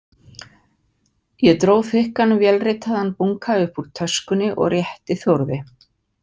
Ég dró þykkan vélritaðan bunka upp úr töskunni og rétti Þórði.